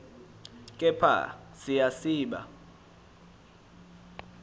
kepha siya siba